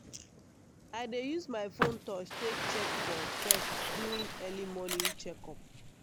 i dey use my phone touch take check for pest during early morning check up.